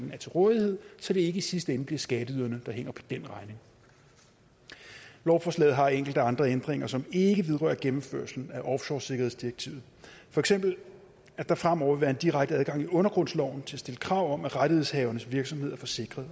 er til rådighed så det ikke i sidste ende bliver skatteyderne der hænger på den regning lovforslaget har enkelte andre ændringer som ikke vedrører gennemførelsen af offshoresikkerhedsdirektivet for eksempel at der fremover vil være en direkte adgang i undergrundsloven til at stille krav om at rettighedshavernes virksomhed er forsikret